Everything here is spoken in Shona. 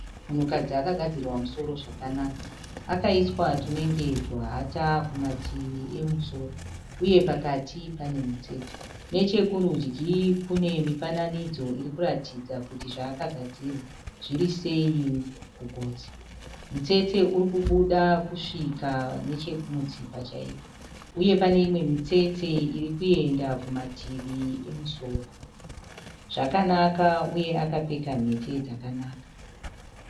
Munhukadzi akagadzirwa musoro zvakanaka. Akaiswa tunenge tuhata kumativi emusoro. Uye pakati pane mutsetse. Nechekurudyi kune mifananidzo iri kurataridza kuti zvaakagadzirwa zviri sei kugotsi. Mutsetse uri kubuda kusvika nechekumutsipa chaiko. Uye pane imwe mitsetse iri kuenda kumativi emusoro. Zvakanaka uye akapfeka mhete dzakanaka.